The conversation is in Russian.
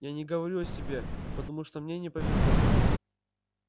я не говорю о себе потому что мне не повезло